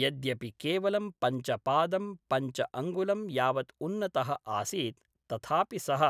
यद्यपि केवलं पञ्च पादं पञ्च अङ्गुलं यावत् उन्नतः आसीत्, तथापि सः